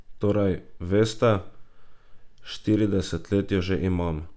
Torej, veste, štirideset let jo že imam ...